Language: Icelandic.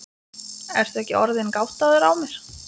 Ertu ekki orðinn gáttaður á mér.